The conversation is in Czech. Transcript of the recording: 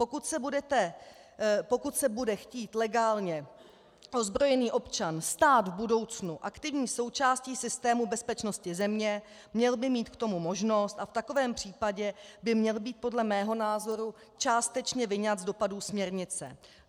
Pokud se bude chtít legálně ozbrojený občan stát v budoucnu aktivní součástí systému bezpečnosti země, měl by mít k tomu možnost a v takovém případě by měl být podle mého názoru částečně vyňat z dopadů směrnice.